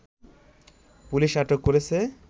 police আটক করেছে